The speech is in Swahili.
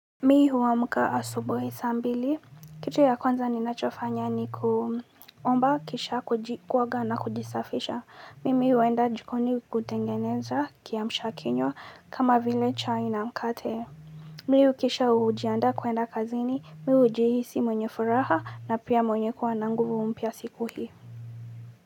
Mimi huamka asubuhi saa mbili. Kitu ya kwanza ninachofanya ni kuomba kisha kuoga na kujisafisha. Mimi huenda jikoni kutengeneza kiamsha kinywa kama vile chai na mkate. Mimi kisha hujiandaa kuenda kazini. Mimi najihisi mwenye furaha na pia mwenye kuwa na nguvu mpya siku hii.